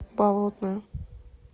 болотное